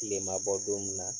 Tile ma bɔ don mun na